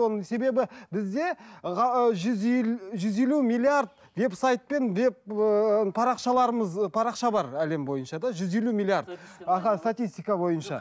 оның себебі бізде ы жүз жүз елу миллиард веб сайтпен деп ыыы парақшаларымыз парақша бар әлем бойынша да жүз елу миллиард аха статистика бойынша